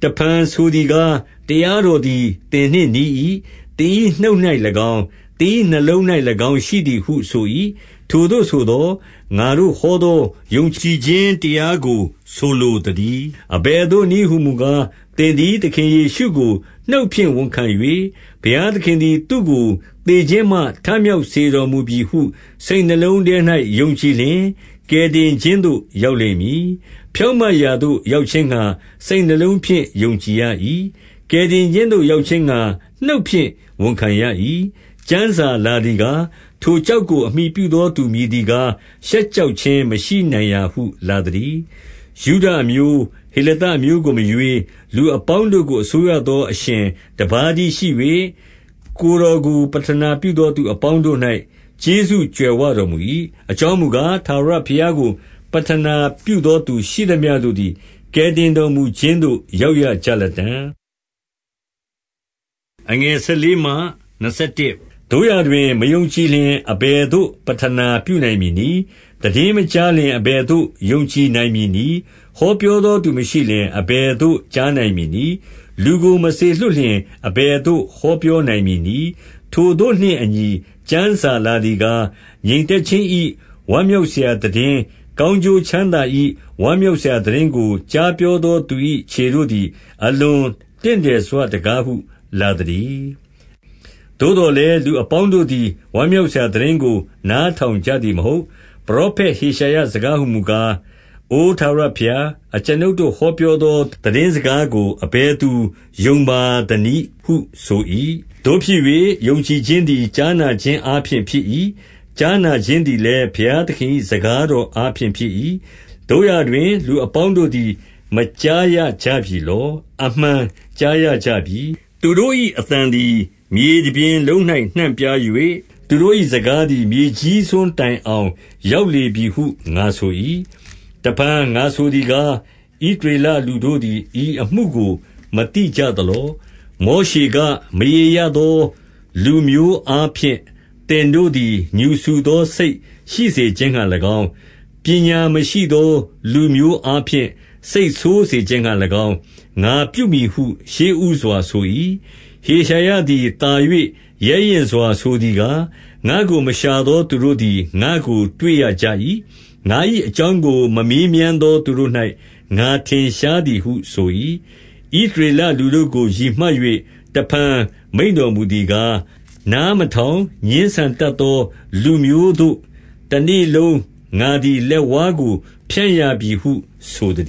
တဖန်ဆိုသည်ကား၊ တရားတော်သည် သင်နှင့် နီး၏။ သင်၏ နှုတ်၌၎င်း၊ သင်၏နှလုံး၌၎င်း ရှိသည်ဟု ဆို၏။ ထိုသို့ဆိုသော်၊ ငါတို့ ဟောသောယုံကြည်ခြင်း တရားကို ဆိုလိုသတည်း။ 9 အဘယ်သို့နည်းဟူမူကား၊ သင်သည် သခင် ယေရှုကိုနှုတ်ဖြင့် ဝန်ခံ၍၊ ဘုရားသခင်သည် သူ့ကို သေခြင်းမှ ထမြောက်စေတော်မူပြီဟု စိတ်နှလုံးထဲ၌ ယုံကြည်လျှင်၊ ကယ်တင်ခြင်းသို့ရောက်လိမ့်မည်။ 10 ဖြောင့်မတ်ရာသို့ ရောက်ခြင်းငှါ စိတ်နှလုံးဖြင့် ယုံကြည်ရ၏။ 11 ကယ်တင်ခြင်းသို့ ရောက်ခြင်းငှါ နှုတ်ဖြင့် ဝန်ခံရ၏။ ကျမ်းစာလာသည်ကား၊ ထိုကျောက်ကို အမှီပြု သော သူမည်သည်ကား၊ ရှက်ကြောက်ခြင်းမရှိနိုင်ရာဟု လာသတည်း။ 12 ယုဒအမျိုး၊ ဟေလသအမျိုးကိုမရွေး၊ လူ အပေါင်းတို့ကို အစိုးရသော အရှင်တပါးတည်းရှိ၍၊ ကိုယ်တော်ကိုပဌာနပြုသော သူအပေါင်းတို့၌ ကျေးဇူး ကြွယ်ဝတော်မူ၏။ 13 အကြောင်းမူကား၊ ထာဝရဘုရားကို ပဌနာပြုသောသူရှိသမျှတို့သည် ကယ်တင်တော်မူခြင်းသို့ ရောက်ရကြလတံ့။ 14 သို့ရာတွင်၊ မယုံကြည်လျှင် အဘယ်သို့ ပဌနာ ပြုနိုင်မည်နည်း။ သိတင်းမကြားလျှင် အဘယ်သို့ ယုံကြည် နိုင်မည်နည်း။ ဟောပြောသောသူမရှိလျှင် အဘယ်သို့ ကြားနိုင်မည်နည်း။ 15 လူကို မစေလွှတ်လျှင် အဘယ်သို့ ဟောပြောနိုင် မည်နည်း။ ထိုသို့နှင့်အညီကျမ်းစာလာသည်ကား၊ ငြိမ်သက်ခြင်း၏ဝမ်းမြောက်စရာ သိတင်း၊ ကောင်းကျိုး ချမ်းသာ၏ ဝမ်းမြောက်စရာသိတင်းကို ကြားပြောသော သူ၏ခြေတို့သည် အလွန်တင့်တယ်စွတကားဟု လာသတည်း။ 16 သို့သော်လည်း၊ လူအပေါင်းတို့သည် ဝမ်းမြောက်စရာသိတင်းကို နားထောင်ကြသည်မဟုတ်။ ပရောဖက် ဟေရှာယ စကားဟူမူကား၊ အိုထာဝရဘုရား၊ အကျွန်ုပ်တို့ ဟောပြောသော သိတင်းစကားကို အဘယ်သူယုံပါ သနည်းဟုဆို၏။ 17 သို့ဖြစ်၍၊ ယုံကြည်ခြင်းသည် ကြားနာခြင်း အားဖြင့်ဖြစ်၏။ ကြားနာခြင်းသည်လည်း၊ ဘုရားသခင်၏ စကားတော်အားဖြင့် ဖြစ်၏။ 18 သို့ရာတွင် လူအပေါင်းတို့သည် မကြားရကြပြီလော။ အမှန်ကြားရကြပြီ။ သူတို့၏အသံသည်မြေတပြင် လုံး၌ နှံပြား၍၊ သူတို့၏စကားသည် မြေကြီးစွန်းတိုင်အောင် ရောက်လေပြီဟုငါဆို၏။ 19 တဖန်ငါဆိုသည်ကား၊ ဣသရေလလူတို့သည် ဤအမှုကို မသိကြသလော။ မောရှေက၊ မရေရသော လူမျိုးအားဖြင့် သင်တို့သည် ငြူစူသောစိတ်ရှိစေခြင်းငှါ၎င်း၊ ပညာမရှိသောလူမျိုးအားဖြင့် စိတ်ဆိုးစေခြင်းငှါ ၎င်း၊ ငါပြုမည်ဟု ရှေ့ဦးစွာ ဆို၏။ 20 ဟေရှာယသည် သာ၍ရဲရင့်စွာဆိုသည်ကား၊ ငါ့ကိုမရှာသော သူတို့သည် ငါ့ကိုတွေ့ရကြ၏။ ငါ၏ အကြောင်းကို မေးမြန်းသောသူတို့၌ ငါထင်ရှားသည်ဟု ဆို၏။ 21 ဣသရေလလူတို့ကို ရည်မှတ်၍ တဖန်မိန့်တော်မူသည်ကား၊ နားမထောင်ငြင်းဆန်တတ်သော လူမျိုးသို့ တနေလုံးငါသည် လက်ဝါးကို ဖြန့်ရပြီဟု ဆိုသ